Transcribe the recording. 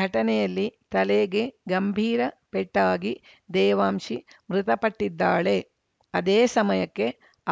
ಘಟನೆಯಲ್ಲಿ ತಲೆಗೆ ಗಂಭೀರ ಪೆಟ್ಟಾಗಿ ದೇವಾಂಶಿ ಮೃತಪಟ್ಟಿದ್ದಾಳೆ ಅದೇ ಸಮಯಕ್ಕೆ